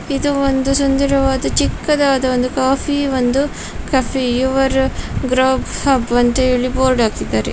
ಇದು ಒಂದು ಸುಂದರವಾದ ಚಿಕ್ಕದಾದ ಒಂದು ಕಾಫಿ ಒಂದು ಕೆಫೆ ಯುವರ್ ಗ್ರಾಬ್ ಹಬ್ ಅಂತ ಹೇಳಿ ಬೋರ್ಡ್ ಹಾಕಿದ್ದಾರೆ --